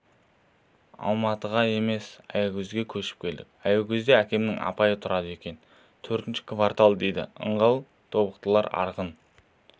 алматыға емес аягөзге көшіп келдік аягөзде әкемнің апайы тұрады екен төртінші квартал дейді ыңғай тобықтылар арғын